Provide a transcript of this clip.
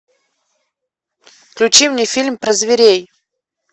включи мне фильм про зверей